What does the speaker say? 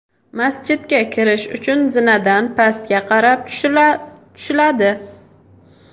Masjidga kirish uchun zinadan pastga qarab tushiladi.